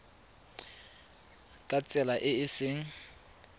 ka tsela e e seng